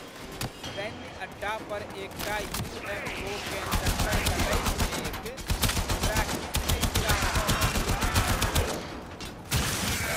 सैन्य अड्डा पर एकटा यू.एफ.ओ.केँ चक्कर कटैत देखि हमरा किछु नहि फुरा रहल अछि।